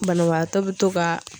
Banabaatɔ be to ka